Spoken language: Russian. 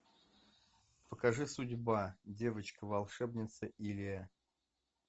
покажи судьба девочка волшебница илия